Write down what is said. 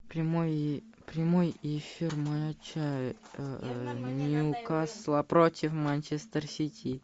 прямой эфир матча ньюкасла против манчестер сити